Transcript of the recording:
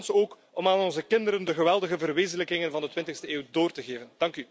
Een kans ook om aan onze kinderen de geweldige verwezenlijkingen van de 20e eeuw door te geven.